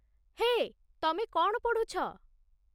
ହେଏ, ତମେ କ'ଣ ପଢୁଛ?